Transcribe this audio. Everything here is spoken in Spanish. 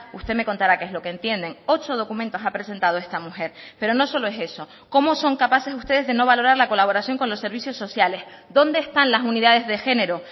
usted me contará qué es lo que entienden ocho documentos ha presentado esta mujer pero no solo es eso cómo son capaces ustedes de no valorar la colaboración con los servicios sociales dónde están las unidades de género